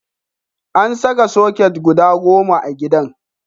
An saka soket guda goma a gidan.